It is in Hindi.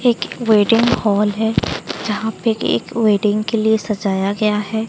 एक वेडिंग हॉल है जहां पे एक वेडिंग के लिए सजाया गया है।